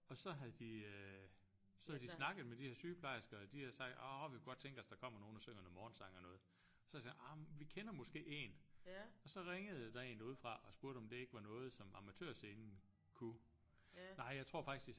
Og så havde de øh så havde de snakket med de her sygeplejersker og de havde sagt åh vi kunne godt tænke os der kommer nogen der synger noget morgensang og noget så havde de sagt ah vi kender måske en og så ringede der en derudefra og spurgte om det ikke var noget som Amatørscenen kunne nej jeg tror faktisk de sagde